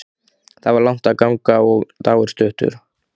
Það var langt að ganga og dagur stuttur.